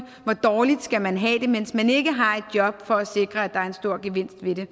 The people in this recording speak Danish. hvor dårligt skal man have det mens man ikke har et job for at sikre at der er en stor gevinst ved det